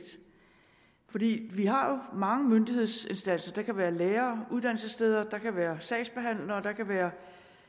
vi vi har jo mange myndighedsinstanser det kan være lærere og uddannelsessteder det kan være sagsbehandlere det kan være